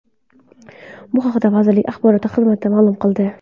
Bu haqda vazirlik axborot xizmati ma’lum qildi .